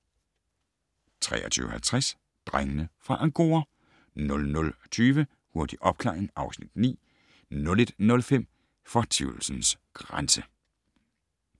23:50: Drengene fra Angora 00:20: Hurtig opklaring (Afs. 9) 01:05: Fortvivlelsens grænse